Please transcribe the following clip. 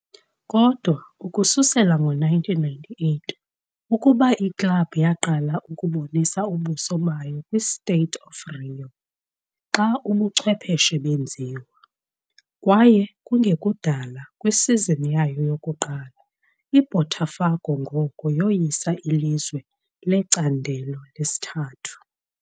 Kodwa ukususela ngo-1998 ukuba iklabhu yaqala ukubonisa "ubuso" bayo kwi-State of Rio, xa ubuchwephesha benziwa. Kwaye kungekudala kwisizini yayo yokuqala, iBotafogo ngoko yoyisa iLizwe leCandelo leSithathu.